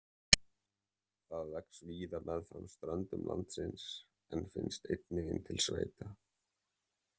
Það vex víða meðfram ströndum landsins en finnst einnig inn til sveita.